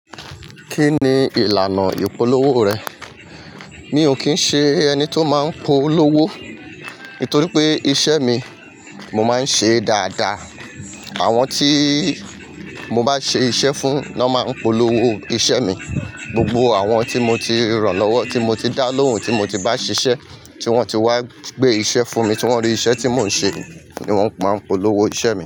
Kí ni ìlànà ìpolówó rẹ̀? Mi ò kín ń ṣe ẹni tó máa ń polówó, nítorí pé iṣẹ́ mi, mo máa ń ṣe dáadáa. Àwọn tí mo bá ṣe iṣẹ́ fún ló máa ń polówó iṣẹ́ mi. Gbogbo àwọn tí mo ti rànlọ́wọ́, tí mo ti dá lóhùn, tí mo ti bá ṣiṣẹ́, tí wọ́n ti wá gbé iṣẹ́ fún mi, tí wọ́n rí iṣẹ́ tí mò ń ṣe ni wọ́n máa ń polówó iṣẹ́ mi.